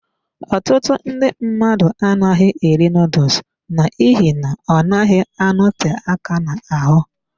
Ọtụtụ ndị mmadụ anaghị eri noodles n'ihi na ọ naghị anote aka n'ahụ.